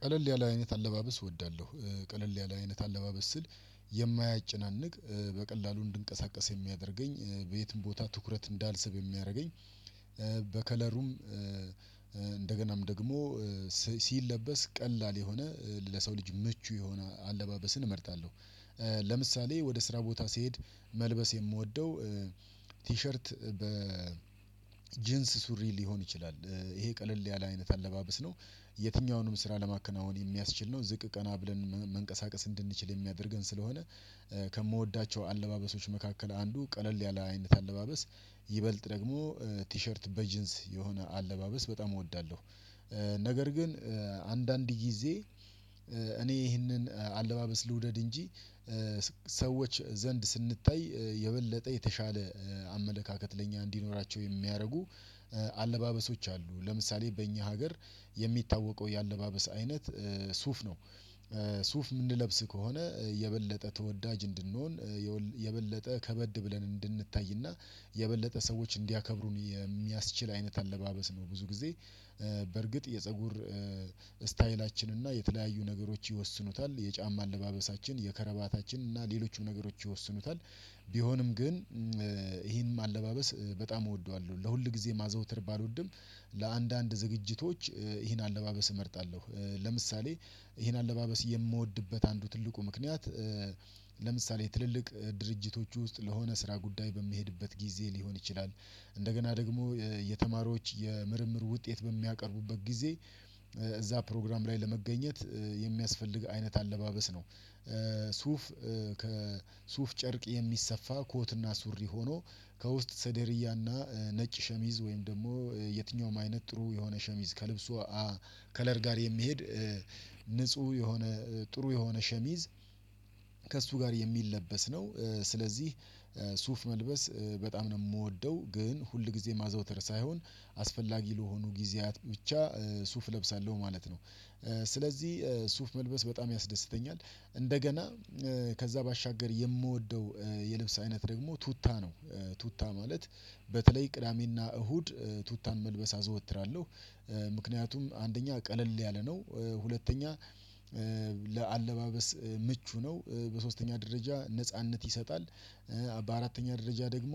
ቀለል ያለ አይነት አለባበስ እወዳለሁ። ቀለል ያለ አይነት አለባበስ ስል የማያጨናንቅ በቀላሉ እንድንቀሳቀስ የሚያደርገኝ በየትም ቦታ ትኩረት እንዳልስብ የሚያደርገኝ። በከለሩም እንደገናም ደግሞ ሲለበስ ቀላል የሆነ ለሰው ልጅ ምቹ የሆነ አለባበስን እመርታጣለሁ። ለምሳሌ ወደ ስራ ቦታ ሲሄድ መልበስ የምወደው ቲሸርት በ ጂንስ ሱሪ ሊሆን ይችላል ይሄ ቀለል ያለ አይነት አለባበስ ነው። የትኛውንም ስራ ለማከናወን የሚያስችል ነው ዝቅ ቀና ብለን መንቀሳቀስ እንድንችል የሚያደርገን ስለሆነ። ከምወዳቸው አለባበሶች መካከል አንዱ ቀለል ያለ አይነት አለባበስ ይበልጥ ደግሞ ቲሸርት በጅንስ የሆነ አለባበስ በጣም እወዳለሁ። ነገር ግን አንዳንድ ጊዜ እኔ ይህንን አለባበስ ልውደድ እንጂ ሰዎች ዘንድ ስንታይ የበለጠ የተሻለ አመለካከት ለኛ እንዲኖራቸው የሚያደርጉ አለባበሶች አሉ። ለምሳሌ በእኛ ሀገር የሚታወቀው የአለባበስ አይነት ሱፍ ነው። ሱፍ የምንለብስ ከሆነ የበለጠ ተወዳጅ እንድንሆን የበለጠ ከበድ ብለን እንድንታይና የበለጠ ሰዎች እንዲያከብሩን የሚያስችል አይነት አለባበስ ነው። ብዙ ጊዜ በርግጥ የፀጉር ስታይላችን እና የተለያዩ ነገሮች ይወስኑታል የጫማ አለባበሳችን የከረባታችን እና ሌሎቹም ነገሮች ይወስኑታል። ቢሆንም ግን ይህንም አለባበስ በጣም እወደዋለሁ ለሁል ጊዜ ማዘውተር ባልወድም ለአንዳንድ ዝግጅቶች ይሄን አለባበስ እመርጣለሁ። ለምሳሌ ይህን አለባበስ የምወድበት አንዱ ትልቁ ምክንያት። ለምሳሌ ትልልቅ ድርጅቶች ውስጥ ለሆነ ስራ ጉዳይ በሚሄድበት ጊዜ ሊሆን ይችላል እንደገና ደግሞ የተማሪዎች የምርምር ውጤት በሚያቀርቡበት ጊዜ እዚያ ፕሮግራም ላይ ለመገኘት የሚያስፈልግ አይነት አለባበስ ነው። ሱፍ ከሱፍ ጨርቅ የሚሰፋ ኮትና ሱሪ ሆኖ ከውስጥ ሰደርያና ነጭ ሸሚዝ ወይም ደግሞ የትኛውም አይነት ጥሩ የሆነ ሸሚዝ ከልብሱ ከለር ጋር የሚሄድ ንጹህ የሆነ ጥሩ የሆነ ሸሚዝ ከእሱ ጋር የሚለበስ ነው። ስለዚህ ሱፍ መልበስ በጣም ነው የምወደው ግን ሁልጊዜ ማዘውተር ሳይሆን አስፈላጊ ለሆኑ ጊዜያት ብቻ ሱፍ እለብሳለሁ ማለት ነው። ስለዚህ ሱፍ መልበስ በጣም ያስደስተኛል እንደገና ከዚያ ባሻገር የምወደው የልብስ አይነት ደግሞ ቱታ ነው። ቱታ ማለት በተለይ ቅዳሜና እሁድ ቱታን መልበስ አዘወትራለሁ ምክንያቱም አንደኛ ቀለል ያለ ነው ሁለተኛ ለአለባበስ ምቹ ነው በሶስተኛ ደረጃ ነጻነት ይሰጣል። በአራተኛ ደረጃ ደግሞ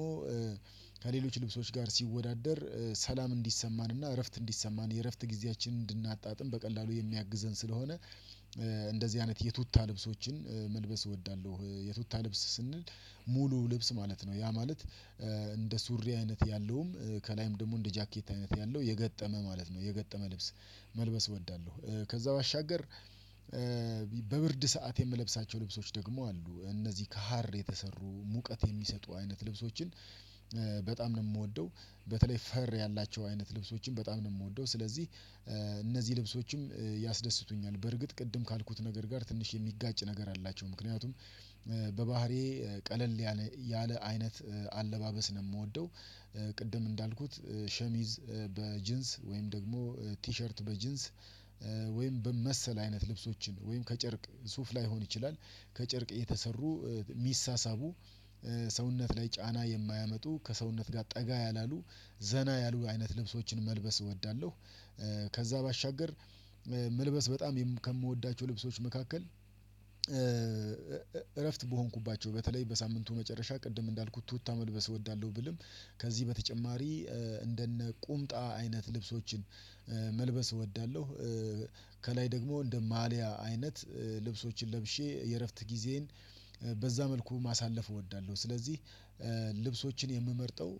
ከሌሎች ልብሶች ጋር ሲወዳደር ሰላም እንዲሰማንና እረፍት እንዲሰማን የእረፍት ጊዜያችንን እንድናጣጥም በቀላሉ የሚያግዘን ስለሆነ። እንደዚህ አይነት የቱታ ልብሶችን መልበስ እወዳለሁ። የቱታ ልብስ ስንል ሙሉ ልብስ ማለት ነው ያ ማለት። እንደ ሱሪ አይነት ያለውም ከላይም ደግሞ እንደ ጃኬት አይነት ያለው የገጠመ ማለት ነው የገጠመ ልብስ መልበስ እወዳለሁ። ከዚያ ባሻገር በብርድ ሰዓት የምለብሳቸው ልብሶች ደግሞ አሉ እነዚህ ከሀር የተሰሩ ሙቀት የሚሰጡ አይነት ልብሶችን በጣም ነው የምወደው። በተለይ ፈር ያላቸው አይነት ልብሶችን በጣም ነው የምወደው። ስለዚህ እነዚህ ልብሶችም ያስደስቱኛል በርግጥ ቅድም ካልኩት ነገር ጋር ትንሽ የሚጋጭ ነገር አላቸው ምክንያቱም በባህሪዬ ቀለል ያለ አይነት አለባበስ ነው የምወደው። ቅድም እንዳልኩት ሸሚዝ በጅንስ ወይም ደግሞ ቲሸርት በጅንስ ወይም መሰል አይነት ልብሶችን ወይም ከጨርቅ ሱፍ ላይሆን ይችላል ከጨርቅ የተሰሩ ሚሳሳቡ ሰውነት ላይ ጫና የማያመጡ ከሰውነት ጋር ጠጋ ያላሉ ዘና ያሉ አይነት ልብሶችን መልበስ እወዳለሁ። ከዚያ ባሻገር መልበስ በጣም ከምወዳቸው ልብሶች መካከል እረፍት በሆንኩባቸው በተለይ በሳምንቱ መጨረሻ ቅድም እንዳልኩት ቱታ መልበስ እወዳለሁ ብልም ከዚህ በተጨማሪ እንደነ ቁምጣ አይነት ልብሶችን መልበስ እወዳለሁ። ከላይ ደግሞ እንደ ማልያ አይነት ልብሶችን ለብሼ የእረፍት ጊዜን በዚያ መልኩ ማሳለፍ እወዳለሁ። ስለዚህ ልብሶችን የምመርጠው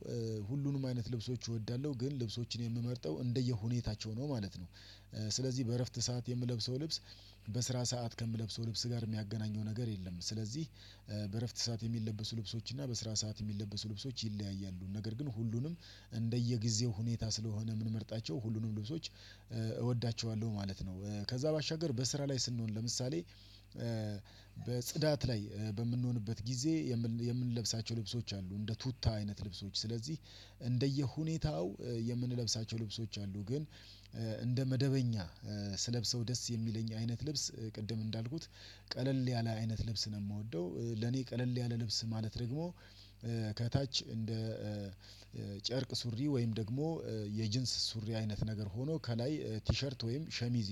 ሁሉንም አይነት ልብሶች እወዳለሁ ግን ልብሶችን የምመርጠው እንደየሁኔታቸው ነው ማለት ነው። ስለዚህ በእረፍት ሰዓት የምለብሰው ልብስ በስራ ሰዓት ከምለብሰው ልብስ ጋር የሚያገናኘው ነገር የለም። ስለዚህ በእረፍት ሰዓት የሚለብሱ ልብሶች እና በስራ ሰዓት የሚለብሱ ልብሶች ይለያያሉ ነገር ግን ሁሉንም እንደየጊዜው ሁኔታ ስለሆነ የምንመርጣቸው ሁሉንም ልብሶች እወዳቸዋለሁ ማለት ነው። ከዚያ ባሻገር በስራ ላይ ስንሆን ለምሳሌ በጽዳት ላይ በምንሆንበት ጊዜ የምንለብሳቸው ልብሶች አሉ። እንደ ቱታ አይነት ልብሶች ስለዚህ እንደየሁኔታው የምንለብሳቸው ልብሶች አሉ። ግን እንደ መደበኛ ስለብሰው ደስ የሚለኝ አይነት ልብስ ቅድም እንዳልኩት ቀለል ያለ አይነት ልብስ ነው የምወደው። ለኔ ቀለል ያለ ልብስ ማለት ደግሞ ከታች እንደ ጨርቅ ሱሪ ወይም ደግሞ የጅንስ ሱሪ አይነት ነገር ሆኖ ከላይ ቲሸርት ወይም ሸሚዝ